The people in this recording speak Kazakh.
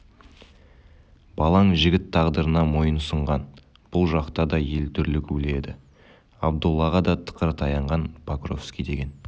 балаң жігіт тағдырына мойынсұнған бұл жақта да ел дүрлігулі еді абдоллаға да тықыр таянған покровский деген